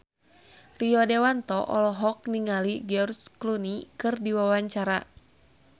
Rio Dewanto olohok ningali George Clooney keur diwawancara